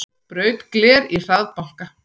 Braut gler í hraðbanka